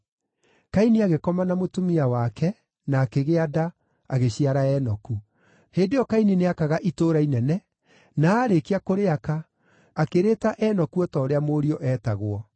Kaini agĩkoma na mũtumia wake, na akĩgĩa nda, agĩciara Enoku. Hĩndĩ ĩyo Kaini nĩakaga itũũra inene, na aarĩkia kũrĩaka, akĩrĩĩta Enoku o ta ũrĩa mũriũ eetagwo.